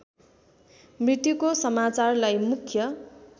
मृत्युको समाचारलाई मुख्य